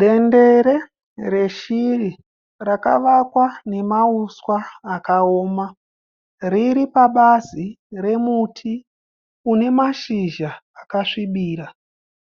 Dendere reshiri rakavakwa nemahuswa akaoma. Riri pabazi romuti une mashizha akasvibira.